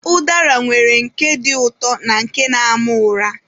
Ụdara nwere nke dị ụtọ na nke na-ama ụra.